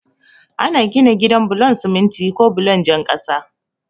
Ana gina gida bulon siminti ko bulon jan kasa.